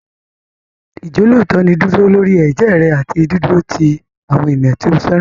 Ìjọ́lóòótọ́ ni dídúró lórí ẹ̀jẹ́ rẹ àti dídúró ti àwọn ènìyàn tí o fẹ́ràn.